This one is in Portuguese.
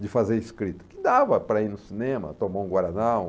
de fazer escrita, que dava para ir no cinema, tomar um Guaraná.